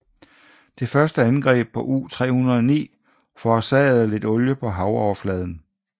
Det første angreb på U 309 forårsagede lidt olie på havoverfladen